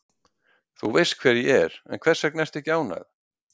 Þú veist hver ég er, en hvers vegna ertu ekki ánægð?